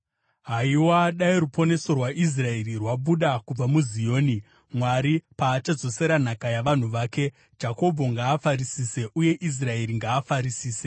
Haiwa, dai ruponeso rwaIsraeri rwabuda kubva muZioni; Mwari paachadzosera nhaka yavanhu vake; Jakobho ngaafarisise uye Israeri ngaafarisise!